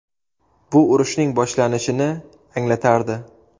Bu urushning boshlanishini anglatardi.